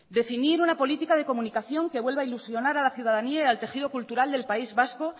definir una política de comunicación que vuelva a ilusionar a la ciudadanía y al tejido cultural del país vasco